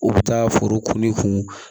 U bɛ taa foro kun